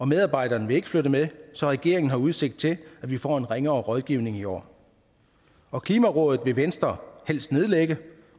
medarbejderne vil ikke flytte med så regeringen har udsigt til at vi får en ringere rådgivning i år og klimarådet vil venstre helst nedlægge